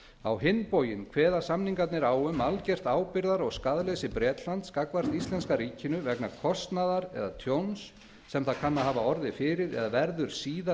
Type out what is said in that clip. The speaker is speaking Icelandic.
á hinn bóginn kveða samningarnir á um algert ábyrgðar og skaðleysi bretlands gagnvart íslenska ríkinu vegna kostnaðar eða tjóns sem það kann að hafa orðið fyrir eða verður síðar